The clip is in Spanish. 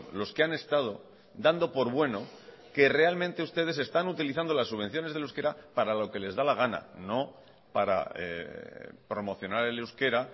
los que han estado dando por bueno que realmente ustedes están utilizando las subvenciones del euskera para lo que les da la gana no para promocionar el euskera